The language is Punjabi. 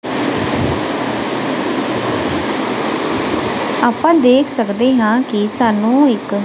ਆਪਾਂ ਦੇਖ ਸਕਦੇ ਹਾਂ ਕਿ ਸਾਨੂੰ ਇੱਕ--